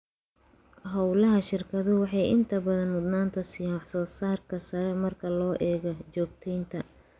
Hawlaha shirkadu waxay inta badan mudnaanta siiyaan wax-soo-saarka sare marka loo eego joogteynta.